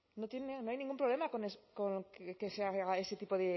no tiene no hay ningún problema con que se haga ese tipo